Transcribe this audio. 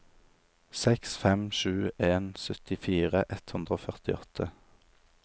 seks fem sju en syttifire ett hundre og førtiåtte